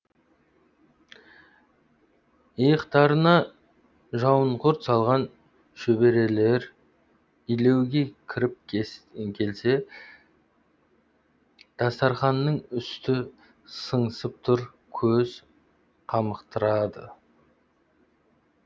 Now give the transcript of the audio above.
иықтарына жауынқұрт салған шөберелер илеуге кіріп келсе дастарқанның үсті сыңсып тұр көз қамықтырады